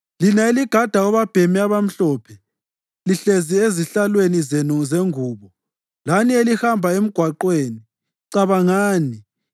Lina eligada obabhemi abamhlophe, lihlezi ezihlalweni zenu zengubo, lani elihamba emgwaqweni cabangani